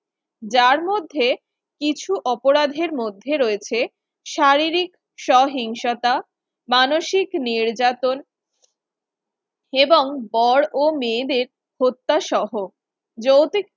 যার মধ্যে কিছু অপরাধের মধ্যে রয়েছে শারীরিক সহিংসতা মানসিক নির্যাতন এবং বড়ও মেয়েদের হত্যাসহ যৌতুক